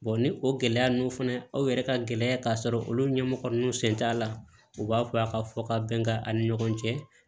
ni o gɛlɛya ninnu fana aw yɛrɛ ka gɛlɛya ka sɔrɔ olu ɲɛmɔgɔ ninnu sen t'a la u b'a fɔ a ka fɔ ka bɛn an ni ɲɔgɔn cɛ